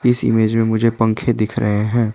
इस इमेज में मुझे पंखे दिख रहे हैं।